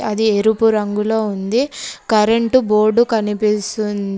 అది ఎరుపు రంగులో ఉంది. కరెంటు బోర్డు కనిపిస్తుంది.